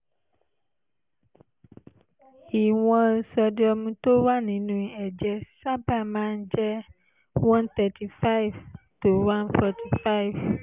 ìwọ̀n sódíọ́ọ̀mù tó wà nínú ẹ̀jẹ̀ sábà máa ń jẹ́ one thirty five to one forty five